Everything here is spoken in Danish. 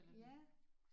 Ja